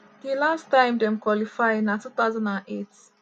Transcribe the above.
di last time dem qualify na 2008.